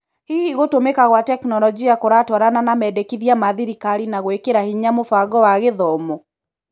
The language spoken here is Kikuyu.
Hihi gũtũmĩka gwa tekinoronjĩ kũratwarana na mendekithia ma thirikari na gũĩkĩra hinya mũbango wa gĩthomo?